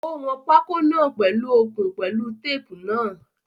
Ó wọn pákó náà pèlu okùn pẹ̀lú tape náà.